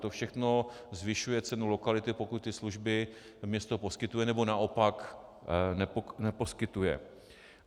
To všechno zvyšuje cenu lokality, pokud ty služby město poskytuje, nebo naopak neposkytuje.